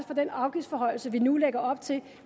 fra den afgiftsforhøjelse vi nu lægger op til